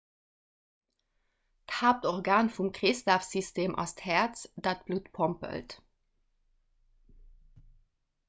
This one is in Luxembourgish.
d'haaptorgan vum kreeslafsystem ass d'häerz dat d'blutt pompelt